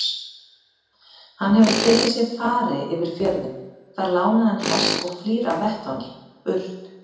Hann hefur tekið sér fari yfir fjörðinn, fær lánaðan hest og flýr af vettvangi- burt!